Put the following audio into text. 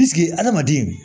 adamaden